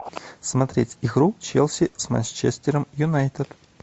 смотреть игру челси с манчестером юнайтед